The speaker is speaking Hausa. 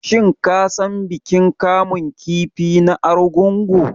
Shin ka san bikin kamun kifi na Argungu?